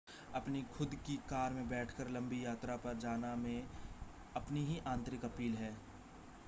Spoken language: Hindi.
अपनी खुद की कार में बैठकर लंबी यात्रा पर जाना में अपनी ही आंतरिक अपील है